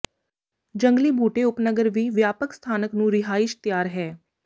ਜੰਗਲੀ ਬੂਟੇ ਉਪਨਗਰ ਵੀ ਵਿਆਪਕ ਸਥਾਨਕ ਨੂੰ ਰਿਹਾਇਸ਼ ਤਿਆਰ ਹੈ